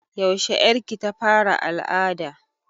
Yaushe ƴar ki ta fara al'ada?